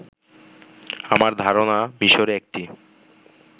আমার ধারনা মিশরে একটি